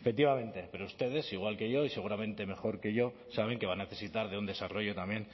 efectivamente pero ustedes igual que yo y seguramente mejor que yo saben que va a necesitar de un desarrollo también